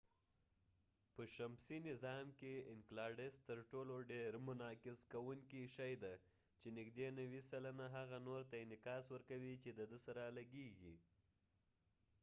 اینکلاډس enceladus په شمسی نظام کې تر ټولو ډیر منعکس کوونکې شي دي چې نږدې نوي سلنه هغه نور ته انعکاس ورکوي چې دده سره لګیږی